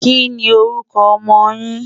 kí ní orúkọ ọmọ yín?